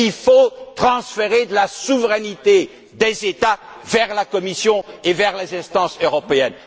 Il faut transférer de la souveraineté des États vers la Commission et vers les instances européennes.